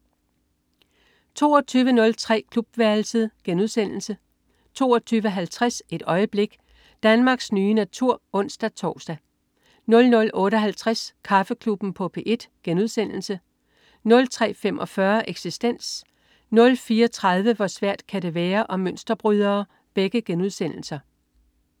22.03 Klubværelset* 22.50 Et øjeblik. Danmarks nye natur (ons-tors) 00.58 Kaffeklubben på P1* 03.45 Eksistens* 04.30 Hvor svært kan det være. Om mønsterbrydere*